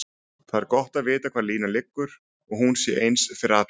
Það er gott að vita hvar línan liggur og hún sé eins fyrir alla.